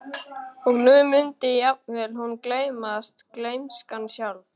Og nú mundi jafnvel hún gleymast, gleymskan sjálf.